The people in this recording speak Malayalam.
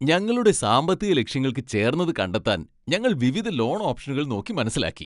ഞങ്ങളുടെ സാമ്പത്തിക ലക്ഷ്യങ്ങൾക്ക് ചേർന്നത് കണ്ടെത്താൻ ഞങ്ങൾ വിവിധ ലോൺ ഓപ്ഷനുകൾ നോക്കി മനസ്സിലാക്കി.